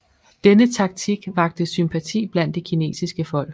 Denne taktik vakte sympati blandt det kinesiske folk